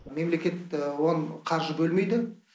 мемлекет оған қаржы бөлмейді